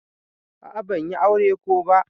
A'a ban yi aure ko ba.